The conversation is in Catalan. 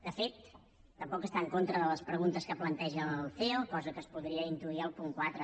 de fet tampoc està en contra de les preguntes que planteja el ceo cosa que es podria intuir al punt quatre